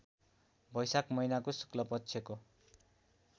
बैशाख महिनाको शुक्लपक्षको